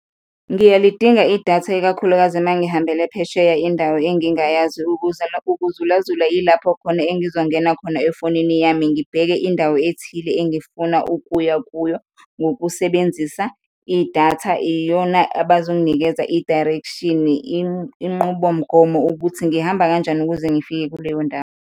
Ngiyalidinga idatha, ikakhulukazi ma ngihambele phesheya, indawo engingayazi. Ukuza, ukuzulazula yilapho khona engizongena khona efonini yami ngibheke indawo ethile engifuna ukuya kuyo ngokusebenzisa idatha, iyona abazonginikeza i-direction-i, inqubomgomo ukuthi ngihamba kanjani ukuze ngifike kuleyo ndawo.